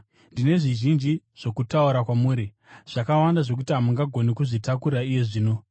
“Ndine zvizhinji zvokutaura kwamuri, zvakawanda zvokuti hamungagoni kuzvitakura iye zvino.